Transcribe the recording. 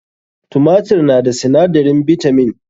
Tumatur na da sinadarin bitamin.